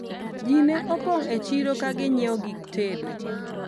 ji ne opong' e chiro ka ginyiewo gik tedo